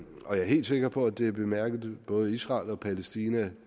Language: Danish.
og jeg er helt sikker på at det er bemærket både i israel og palæstina